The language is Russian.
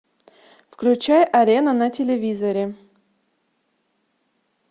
включай арена на телевизоре